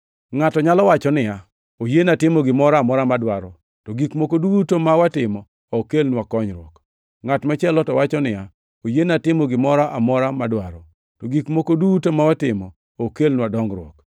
Ngʼato nyalo wacho niya, “Oyiena timo gimoro amora mwadwaro,” to gik moko duto ma watimo ok kelnwa konyruok. Ngʼat machielo to wacho niya, “Oyiena timo gimoro amora madwaro,” to gik moko duto ma watimo ok kelnwa dongruok.